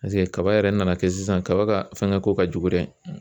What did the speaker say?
kaba yɛrɛ nana kɛ sisan kaba ka fɛngɛko ka jugu dɛ